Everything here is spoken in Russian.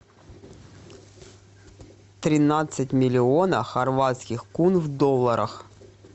тринадцать миллионов хорватских кун в долларах